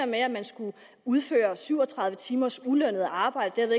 med at man skulle udføre syv og tredive timers ulønnet arbejde og